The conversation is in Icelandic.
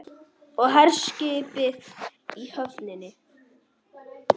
Og herskipið í höfninni.